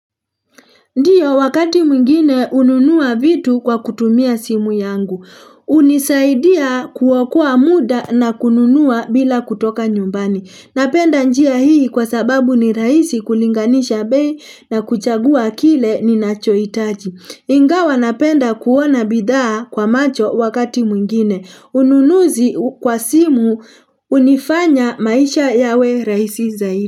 Ndiyo wakati mwingine ununua vitu kwa kutumia simu yangu. Unisaidia kuwakua muda na kununua bila kutoka nyumbani. Napenda njia hii kwa sababu ni rahisi kulinganisha bei na kuchagua kile ni nachoitaji. Ingawa napenda kuwona bidhaa kwa macho wakati mwingine. Ununuzi kwa simu unifanya maisha yawe raisi zaidi.